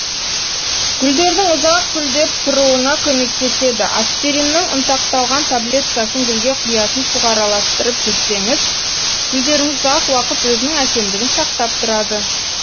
гүлдердің ұзақ гүлдеп тұруына көмектеседі аспириннің ұнтақталған таблеткасын гүлге құятын суға араластырып жүрсеңіз гүлдеріңіз ұзақ уақыт өзінің әсемдігін сақтап тұрады